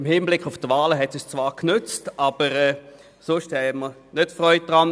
Im Hinblick auf die Wahlen nützte es uns zwar, aber sonst hatten wir keine Freude daran.